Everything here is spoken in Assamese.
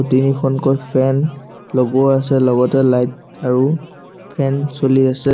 তিনিখনকৈ ফেন লগোৱা আছে লগতে লাইট আৰু ফেন চলি আছে।